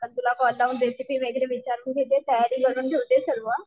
अ तुला कॉल लावून रेसिपी वगैरे विचारून घेते तयारी करून घेते सर्व.